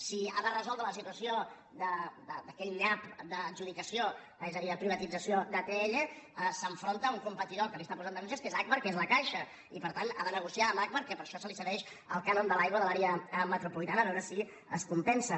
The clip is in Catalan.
si ha de resoldre la situació d’aquell nyap d’adjudicació és a dir la privatització d’atll s’enfronta a un competidor que li està posant denúncies que és agbar que és la caixa i per tant ha de negociar amb agbar que per això se li cedeix el cànon de l’aigua de l’àrea metropolitana a veure si es compensa